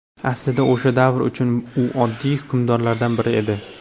Aslida, o‘sha davr uchun u oddiy hukmdorlardan biri edi.